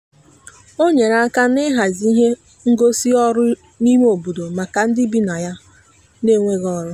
o nyere aka n'ịhazi ihe ngosị ọrụ n'ime obodo maka ndị bi na ya n'enweghị ọrụ.